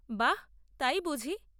বাহ্, তাই বুঝি?